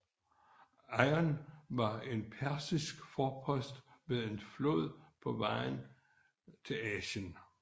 Eion var en persisk forpost ved en flod på vejen til Asien